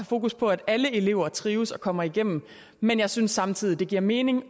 fokus på at alle elever trives og kommer igennem men jeg synes samtidig det giver mening